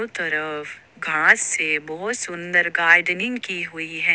तरफ घास से बहोत सुन्दर गार्डनिंग की हुई है।